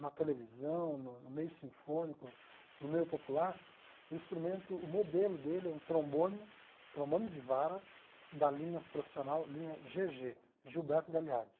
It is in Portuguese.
na televisão, no no meio sinfônico, no meio popular, o instrumento, o modelo dele é um trombone, trombone de vara da linha profissional, linha gê gê, Gilberto Gagliardi.